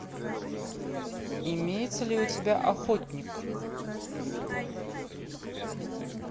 имеется ли у тебя охотник